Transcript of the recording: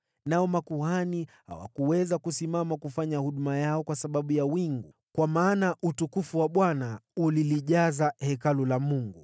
nao makuhani hawakuweza kufanya huduma yao kwa sababu ya lile wingu, kwa kuwa utukufu wa Bwana ulijaza Hekalu la Mungu.